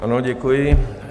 Ano, děkuji.